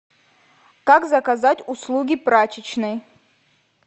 как заказать услуги прачечной